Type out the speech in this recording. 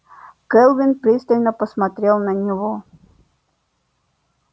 кэлвин пристально посмотрела на него